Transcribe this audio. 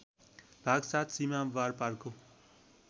भाग ७ सीमा वारपारको